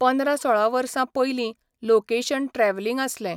पंदरा सोळा वर्सां पयलीं लोकेशण ट्रॅवलींग आसलें.